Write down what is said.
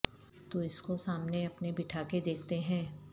تو اس کو سامنے اپنے بٹھا کے دیکھتے ہیں